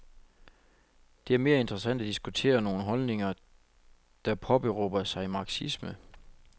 Det er mere interessant at diskutere nogle holdninger, der påberåber sig marxisme.